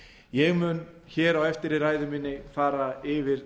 ég mun hér á eftir í ræðu minni fara yfir